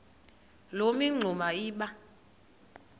loo mingxuma iba